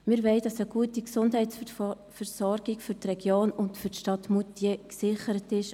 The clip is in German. Wir wollen, dass auch in Zukunft eine gute Gesundheitsversorgung für die Region und für die Stadt Moutier gesichert ist.